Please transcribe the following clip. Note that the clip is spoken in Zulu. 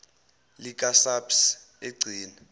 lika saps egcina